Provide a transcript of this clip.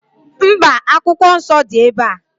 Mba, Akwụkwọ Nsọ dị ebe a.